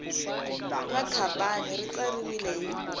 ra khampani ri tsariwile hi